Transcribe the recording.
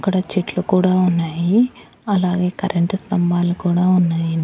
అక్కడ చెట్లు కూడా ఉన్నాయి అలాగే కరెంటు స్తంభాలు కూడా ఉన్నాయి.